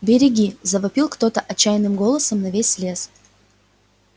береги завопил кто-то отчаянным голосом на весь лес